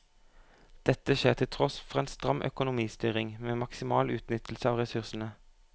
Dette skjer til tross for en stram økonomistyring med maksimal utnyttelse av ressursene.